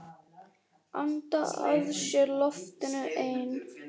Anda að sér loftinu ein.